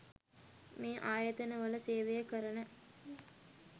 මේ ආයතන වල සේවය කරන